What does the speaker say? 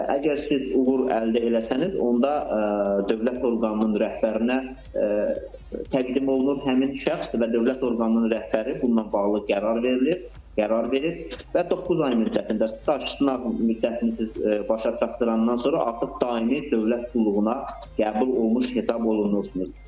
Əgər siz uğur əldə eləsəniz, onda dövlət orqanının rəhbərinə təqdim olunur həmin şəxs və dövlət orqanının rəhbəri bununla bağlı qərar verilir, qərar verir və doqquz ay müddətində staj sınaq müddətini siz başa çatdırandan sonra artıq daimi dövlət qulluğuna qəbul olunmuş hesab olunursunuz.